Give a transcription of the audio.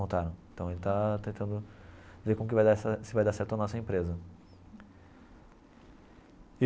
Montaram então ele está tentando ver como que vai dar essa se vai dar certo a nossa empresa.